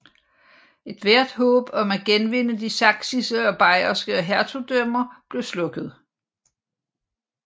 Ethvert håb om at genvinde de sachsiske og bayerske hertugdømmer blev slukket